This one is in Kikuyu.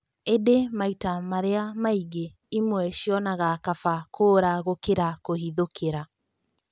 ĩndĩ maita marĩa maingĩ ĩmwe cionaga kaba kũũra gũkĩra kũhithũkĩra.